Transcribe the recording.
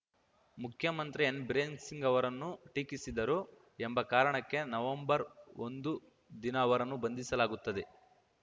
ಮುಖ್ಯಮಂತ್ರಿ ಎನ್‌ಬಿರೇನ್‌ ಸಿಂಗ್‌ ಅವರನ್ನು ಟೀಕಿಸಿದರು ಎಂಬ ಕಾರಣಕ್ಕೆ ನವೆಂಬರ್‌ ಒಂದು ದಿನ ಅವರನ್ನು ಬಂಧಿಸಲಾಗುತ್ತದೆ